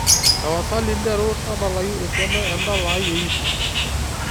tapasali nteru tadalayu esiana endala ai e yutub